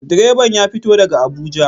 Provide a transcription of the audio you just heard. Direban ya fito daga Abuja.